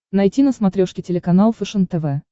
найти на смотрешке телеканал фэшен тв